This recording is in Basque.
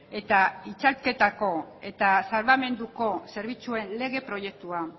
eta itzalketako eta salbamenduko zerbitzuen lege proiektua